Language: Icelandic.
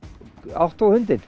átt þú hundinn